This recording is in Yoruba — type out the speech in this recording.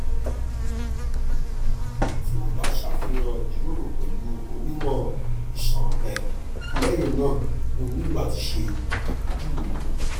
ti o ba ṣafihan ijiroro pẹlu onimọ iṣan rẹ lẹhinna o nilo lati ṣe apejuwe